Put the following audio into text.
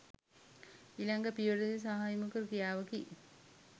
ඊළඟ පියවරේදී සාමූහික ‍ක්‍රියාවකි.